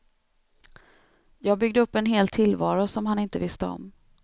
Jag byggde upp en hel tillvaro som han inte visste om.